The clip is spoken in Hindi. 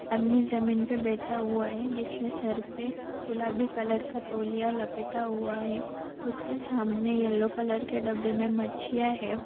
आदमी जमीन पे बेठा हुआ है जिसने सर पे गूलाबी कलर का तोलिया लपेटा हुआ है उसके सामने येल्लो कलर के डब्बे में मच्छीया है।